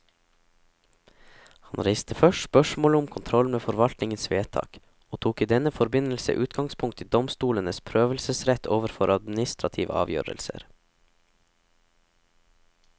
Han reiste først spørsmålet om kontrollen med forvaltningens vedtak, og tok i denne forbindelse utgangspunkt i domstolenes prøvelsesrett overfor administrative avgjørelser.